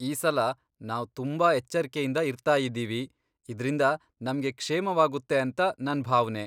ಈ ಸಲ, ನಾವ್ ತುಂಬಾ ಎಚ್ಚರ್ಕೆಯಿಂದ ಇರ್ತಾಯಿದ್ದೀವಿ, ಇದ್ರಿಂದ ನಮ್ಗೆ ಕ್ಷೇಮವಾಗುತ್ತೇಂತ ನನ್ ಭಾವ್ನೆ.